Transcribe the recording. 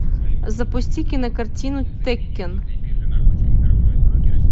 запусти кинокартину теккен